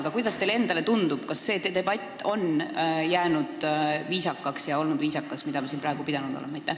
Aga kuidas teile endale tundub, kas see debatt, mida me siin praegu pidanud oleme, on olnud viisakas ja jäänud viisakaks?